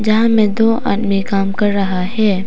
जहां में दो आदमी काम कर रहा है।